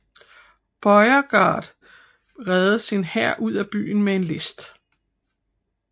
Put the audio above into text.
Beauregard reddede sin hær ud af byen med en list